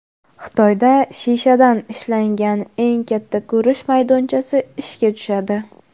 Xitoyda shishadan ishlangan eng katta ko‘rish maydonchasi ishga tushadi.